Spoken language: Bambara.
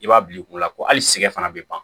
I b'a bila i kunna ko hali siga fana bɛ ban